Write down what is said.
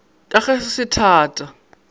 ka ge se se thata